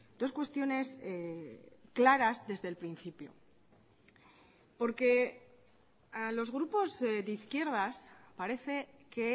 dos cuestiones claras desde el principio porque a los grupos de izquierdas parece que